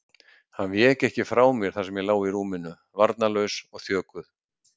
Hann vék ekki frá mér þar sem ég lá í rúminu, varnarlaus og þjökuð.